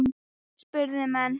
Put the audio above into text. spurðu menn.